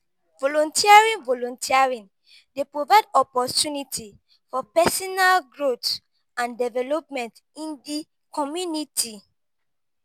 volunteering volunteering dey provide opportunties for pesinal growth and development in di community.